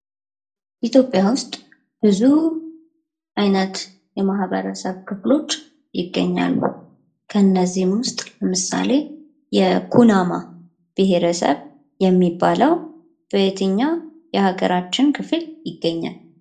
ኢትዮጵያ ውስጥ ብዙ አይነት የማህበረሰብ ክፍሎች ይገኛሉ ከነዚህም ውስጥ ምሳሌ የኩናማ ብሄረሰብ የሚባለው በየትኛው የሀገራችን ክፍል ይገኛል?